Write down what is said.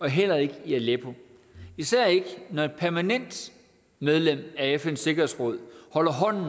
heller ikke i aleppo især ikke når et permanent medlem af fns sikkerhedsråd holder hånden